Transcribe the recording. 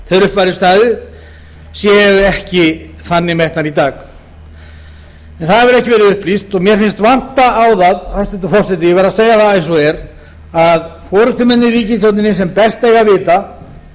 þegar upp væri staðið séu ekki þannig metnar í dag en það hefur ekki verið upplýst og mér finnst vanta á það hæstvirtur forseti ég verð að segja það eins og er að forustumenn í ríkisstjórninni sem best eiga að vita